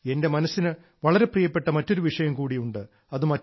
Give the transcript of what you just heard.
എന്റെ മനസ്സിന് വളരെ പ്രിയപ്പെട്ട മറ്റൊരു വിഷയം കൂടി ഉണ്ട്